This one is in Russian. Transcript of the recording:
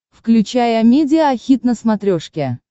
включай амедиа хит на смотрешке